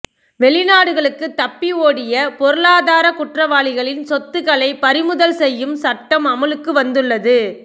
வெளிநாடுகளுக்கு தப்பி ஓடிய பொருளாதார குற்றவாளிகளின் சொத்துக்களை பறிமுதல் செய்யும் சட்டம் அமுலுக்கு வந்துள்ளது